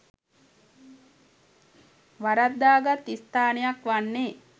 වරද්දාගත් ස්ථානයක් වන්නේ